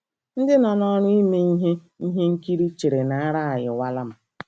Ndị nọ n’ọrụ ime ihe ihe nkiri chere na ara ayịwala m.